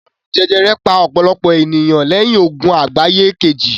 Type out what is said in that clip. Àrùn jẹjẹrẹ pa ọ̀pọ̀lọpọ̀ ènìyàn lẹ́yìn Ogun Àgbáyé Kejì